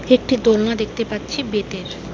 একটি দোলনা দেখতে পাচ্ছি বেতের।